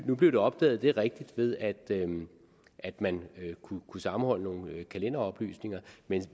nu blev det opdaget det er rigtigt ved at at man kunne sammenholde nogle kalenderoplysninger men